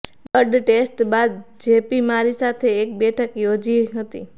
blood test બાદ જીપીએ મારી સાથે એક બેઠક યોજી હતી